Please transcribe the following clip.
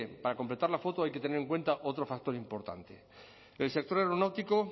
para completar la foto hay que tener en cuenta otro factor importante el sector aeronáutico